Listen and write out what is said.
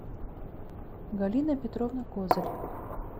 галина петровна козырь